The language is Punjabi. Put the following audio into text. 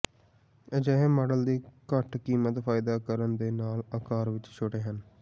ਅਜਿਹੇ ਮਾਡਲ ਦੀ ਘੱਟ ਕੀਮਤ ਫਾਇਦਾ ਕਰਨ ਦੇ ਨਾਲ ਆਕਾਰ ਵਿਚ ਛੋਟੇ ਹਨ